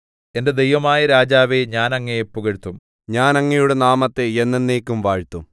എന്റെ ദൈവമായ രാജാവേ ഞാൻ അങ്ങയെ പുകഴ്ത്തും ഞാൻ അങ്ങയുടെ നാമത്തെ എന്നെന്നേക്കും വാഴ്ത്തും